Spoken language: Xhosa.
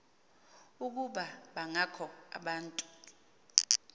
ukuba bangakho abantu